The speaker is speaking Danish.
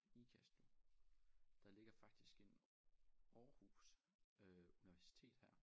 Ikast nu der ligger faktisk en Aarhus øh Universitet her